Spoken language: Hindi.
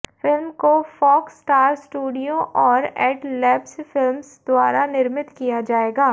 फिल्म को फॉक्स स्टार स्टूडियो और एडलैब्स फिल्म्स द्वारा निर्मित किया जाएगा